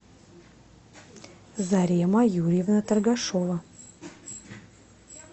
зарема юрьевна торгашова